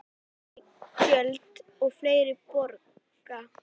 Hærri gjöld og fleiri borga